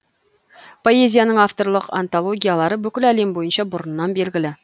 поэзияның авторлық антологиялары бүкіл әлем бойынша бұрыннан белгілі